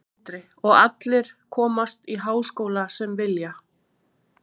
Sindri: Og allir komast í háskóla sem vilja?